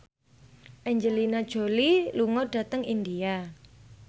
Angelina Jolie lunga dhateng India